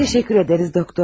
Təşəkkür edirik, doktor.